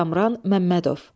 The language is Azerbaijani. Kamran Məmmədov.